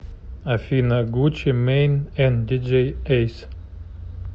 афина гуччи мэйн энд диджей эйс